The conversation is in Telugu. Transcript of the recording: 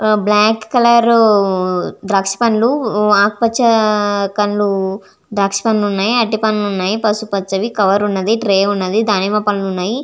ఊ బ్లాకు కలర్ ద్రాక్ష కందు ఆకుపచ కందు ద్రాక్ష పండ్లు వునాయ్ అరటి పండ్లు వున్నాయ్ కవర్ వున్నది ట్రే వున్నది దానిమ్మ పండు ఉన్నది .